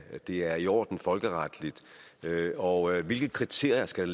at det er i orden folkeretligt og hvilke kriterier skal